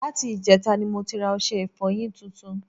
Láti ìjẹtata ni mo ti ra ọṣẹ ìfọyín tuntun